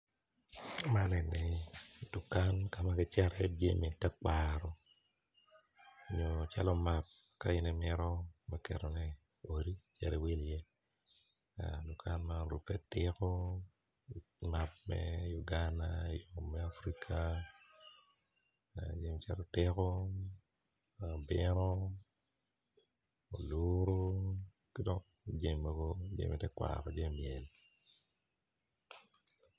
Man eni dukan kama kicato i ye jami tekwaro nyo cal omak ka in imito me ketone i odi me wilone dok kan ma orube tiko map me Uganda me Africa meno jami calo otiko mabito oluru ki dok jami mogo jami myel.